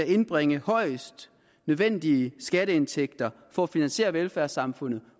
indbringe højst nødvendige skatteindtægter for at kunne finansiere velfærdssamfundet